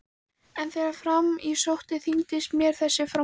En þegar fram í sótti þyngdist mér þessi framkvæmd.